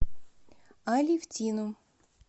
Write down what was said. алевтину